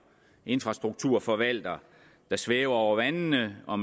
infrastrukturforvalter der svæver over vandene og